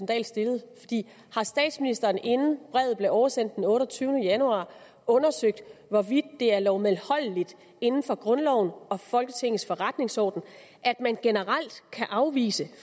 dahl stillede har statsministeren inden brevet blev oversendt den otteogtyvende januar undersøgt hvorvidt det er lovmedholdeligt inden for grundloven og folketingets forretningsorden at man generelt kan afvise at